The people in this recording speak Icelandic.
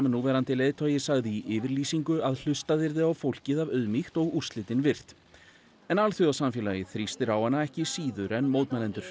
núverandi leiðtogi sagði í yfirlýsingu að hlustað yrði á fólkið af auðmýkt og úrslitin virt en alþjóðasamfélagið þrýstir á hana ekki síður en mótmælendur